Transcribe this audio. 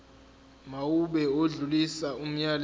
mawube odlulisa umyalezo